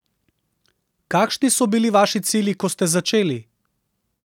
Kakšni so bili vaši cilji, ko ste začeli?